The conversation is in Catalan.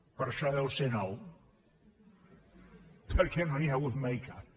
per això deu ser nou perquè no n’hi ha hagut mai cap